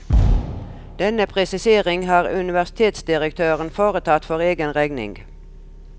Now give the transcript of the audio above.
Denne presisering har universitetsdirektøren foretatt for egen regning.